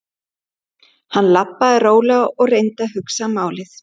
Hann labbaði rólega og reyndi að hugsa málið.